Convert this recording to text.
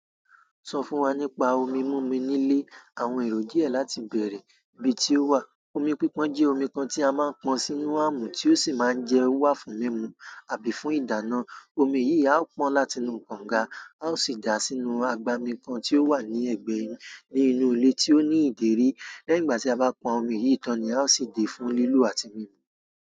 Sọ fún wa nípa omi múmi nílé, àwọn èyan díẹ̀ láti bèèrè. Ibi tí ó wà, omi pípon jẹ́ omi kan tí a máa ń pọn sínú àmù tí ó sì máa ń jẹ́ wà fún mímu àbí fún ìdáná. Omi yìí á pọn láti inú kànga, a ó sì dà á sínú agbami kan tí ó wà ní ẹ̀gbẹ́ inú ilé tí ó ní ìdérí. Lẹ́yìn ìgbà ti a ba pon omi yìí tan ni a o si de fún lilo àti mimu.